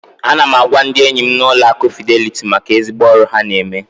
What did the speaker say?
Ana m agwa ndị enyim na Ụlọ akụ Fidelity maka ezigbo ọrụ ha na eme.